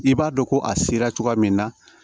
I b'a dɔn ko a sera cogoya min na